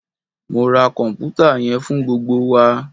Mo ra kọnputa yẹn fun gbogbo wa!